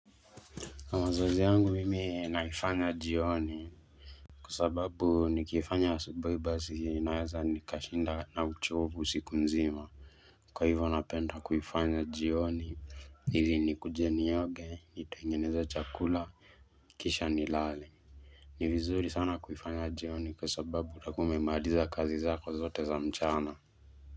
Na mazoezi yangu mimi naifanya jioni Kwa sababu nikiifanya asubui basi naeza nikashinda na uchovu siku nzima Kwa hivyo napenda kuifanya jioni ili nikuje nioge nitengeneza chakula kisha nilale ni vizuri sana kuifanya jioni kwa sababu utakuwa umemaliza kazi zako zote za mchana.